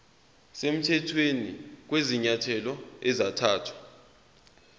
semthethweni kwezinyathelo ezathathwa